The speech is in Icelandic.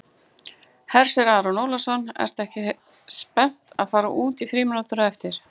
Hersir Aron Ólafsson: Ertu ekki spennt að fara út í frímínútur á eftir?